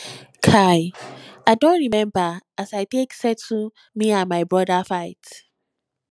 kai i don rememba as i take settle me and my broda fight